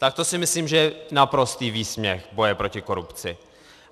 Tak to si myslím, že je naprostý výsměch boje proti korupci.